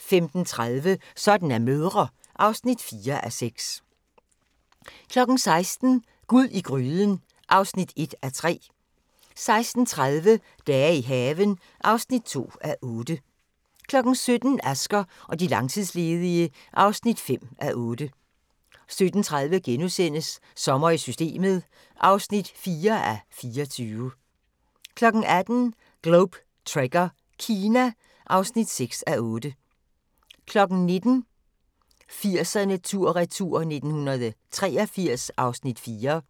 15:30: Sådan er mødre (4:6) 16:00: Gud i gryden (1:3) 16:30: Dage i haven (2:8) 17:00: Asger og de langtidsledige (5:8) 17:30: Sommer i Systemet (4:24)* 18:00: Globe Trekker - Kina (6:8) 19:00: 80'erne tur/retur: 1983 (Afs. 4)